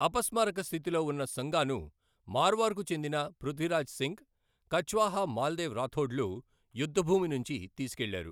అపస్మారక స్థితిలో ఉన్న సంగాను మార్వార్కు చెందిన పృథ్వీరాజ్ సింగ్, కచ్వాహా, మాల్దేవ్ రాథోడ్లు యుద్ధభూమి నుంచి తీసుకెళ్లారు.